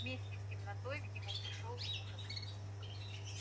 вместе с темнотой к нему пришёл ужас